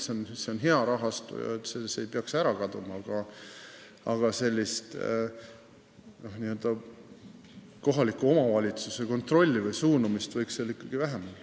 See on hea rahastu, mis ei peaks ära kaduma, aga kohaliku omavalitsuse kontrolli või suunamist võiks seal ikkagi vähem olla.